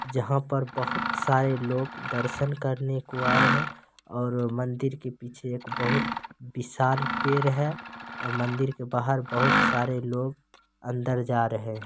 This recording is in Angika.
जहाँ पर बहुत सारे लोग दर्शन करने को आए हैं और मंदिर के पीछे एक बहुत विशाल पेड़ है और मंदिर के बाहर बहुत सारे लोग अंदर जा रहे हैं।